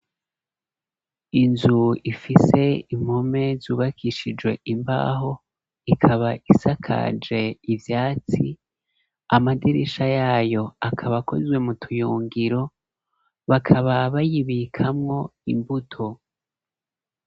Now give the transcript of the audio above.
Inzu ifise impome zubakishijwe imbaho ikaba isakaje ivyatsi amadirisha yayo akaba akozwe mu tuyungiro bakaba bayibikamwo imbuto.